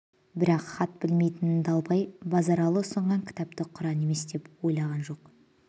бірақ хат білмейтін далбай базаралы ұсынған кітапты құран емес деп ойлаған жоқ